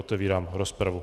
Otevírám rozpravu.